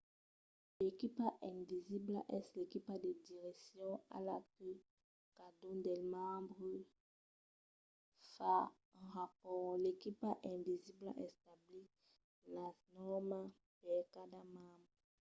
l' equipa invisibla” es l'equipa de direccion a la que cadun dels membres fa un rapòrt. l'equipa invisibla estabís las nòrmas per cada membre